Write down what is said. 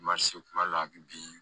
kuma dɔ la a bi bi